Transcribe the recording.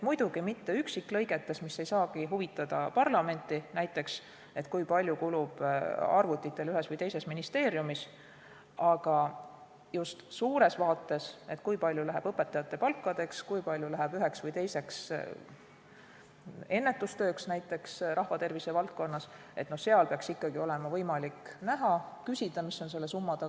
Muidugi mitte üksiklõigetes, mis ei saagi näiteks parlamenti huvitada, et kui palju kulub arvutitele ühes või teises ministeeriumis, aga suures vaates, kui palju läheb õpetajate palkadeks, kui palju läheb üheks või teiseks ennetustööks näiteks rahvatervise valdkonnas, peaks olema võimalik näha ja küsida, mis on selle summa taga.